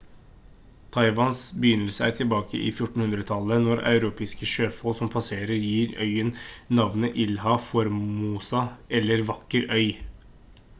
taiwans begynnelse er tilbake i 1400-tallet når europeiske sjøfolk som passerer gir øyen navnet ilha formosa eller vakker øy